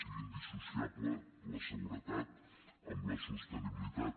sigui indissociable la seguretat amb la sostenibilitat